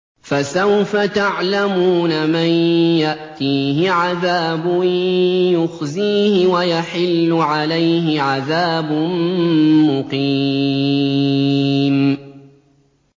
فَسَوْفَ تَعْلَمُونَ مَن يَأْتِيهِ عَذَابٌ يُخْزِيهِ وَيَحِلُّ عَلَيْهِ عَذَابٌ مُّقِيمٌ